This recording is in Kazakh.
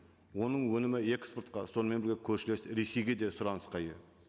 оның өнімі экспортқа сонымен бірге көршілес ресейге де сұранысқа ие